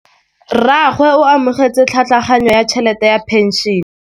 Rragwe o amogetse tlhatlhaganyô ya tšhelête ya phenšene.